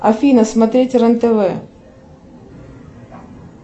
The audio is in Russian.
афина смотреть рен тв